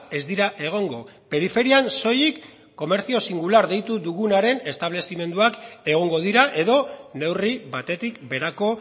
ez dira egongo periferian soilik comercio singular deitu dugunaren establezimenduak egongo dira edo neurri batetik berako